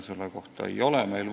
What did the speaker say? Selle kohta meil vastuseid ei ole.